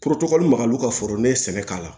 magal u ka foro ne ye sɛnɛ k'a la